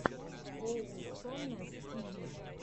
оусомнесс ти ви